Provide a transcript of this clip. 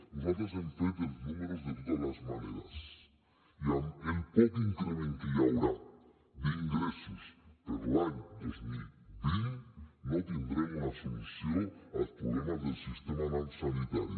nosaltres hem fet els números de totes les maneres i amb el poc increment que hi haurà d’ingressos per a l’any dos mil vint no tindrem una solució als problemes del sistema sanitari